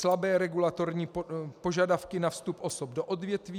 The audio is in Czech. Slabé regulatorní požadavky na vstup osob do odvětví.